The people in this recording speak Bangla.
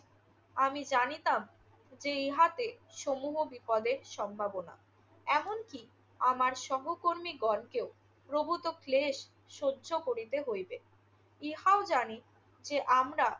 আমি জানিতাম যে ইহাতে সমূহ বিপদের সম্ভবনা। এমনকি আমার সহকর্মীগণকেও প্রভূত ক্লেশ সহ্য করিতে হইবে। ইহাও জানি যে আমরা